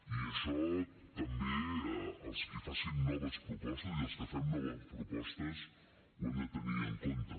i això també els qui facin noves propostes i els que fem noves propostes ho hem de tenir en compte